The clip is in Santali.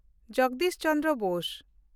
ᱡᱚᱜᱚᱫᱤᱥ ᱪᱚᱱᱫᱨᱚ ᱵᱳᱥ